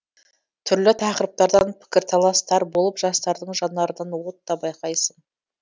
түрлі тақырыптардан пікірталастар болып жастардың жанарынан от та байқайсың